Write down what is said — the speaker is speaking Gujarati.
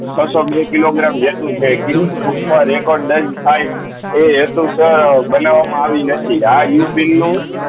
છ સૌ બે કીલોગ્ર્મ છે ગીનીશ બૂક માં રેકોર્ડ દર્જ થાય એ બનાવી માં આવી નથી આ ઉપીન નું